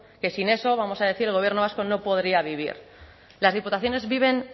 que sin eso vamos a decir el gobierno vasco no podría vivir las diputaciones viven